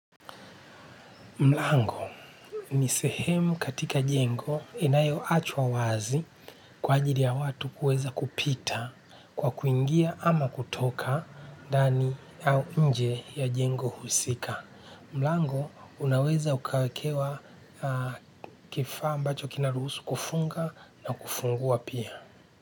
Mlango ni sehemu katika jengo inayoachwa wazi kwa ajili ya watu kuweza kupita kwa kuingia ama kutoka ndani au nje ya jengo husika. Mlango unaweza ukawekewa kifaa ambacho kinaruhusu kufunga na kufungua pia.